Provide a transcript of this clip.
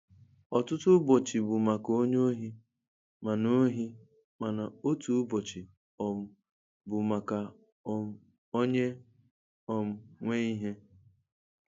Òtūtū úbòchì bụ maka ónyè óhì, mana óhì, mana ótù úbòchì um bụ maka um ónyè um nwe íhè.